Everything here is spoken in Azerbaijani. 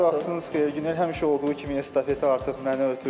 Hər vaxtın xeyir, Günel, həmişə olduğu kimi estafet artıq mənə ötürdünüz.